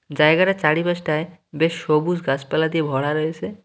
জায়গাটার চারিপাশটায় বেশ সবুজ গাছপালা দিয়ে ভরা রয়েছে।